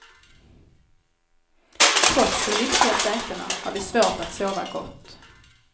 Trots de lyxiga sätena har vi svårt att sova gott.